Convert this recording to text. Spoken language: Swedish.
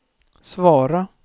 svara